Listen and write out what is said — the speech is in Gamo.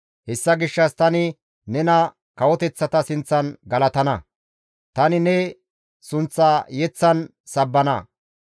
Hessa gishshas tani nena kawoteththata sinththan galatana; tani ne sunththa yeththan sabbana.